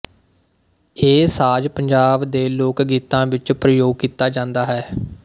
ਇਹ ਸਾਜ਼ ਪੰਜਾਬ ਦੇ ਲੋਕਗੀਤਾਂ ਵਿੱਚ ਪ੍ਰਯੋਗ ਕੀਤਾ ਜਾਂਦਾ ਹੈ